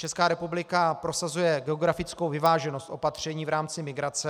Česká republika prosazuje geografickou vyváženost opatření v rámci migrace.